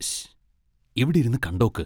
ശ്ശ്! ഇവിടിരുന്ന് കണ്ടോക്ക്.